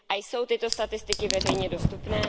Jsou tyto statistiky veřejně dostupné?